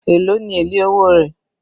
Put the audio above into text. Èló ni èlé owó rẹ̀?